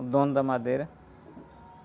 O dono da madeira.